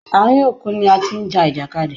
Àárín òkun ni a ti ń ja ìjàkadì.